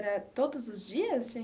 Era todos os dias?